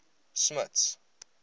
smuts